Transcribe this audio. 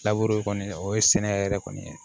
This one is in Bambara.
kɔni o ye sɛnɛ yɛrɛ kɔni ye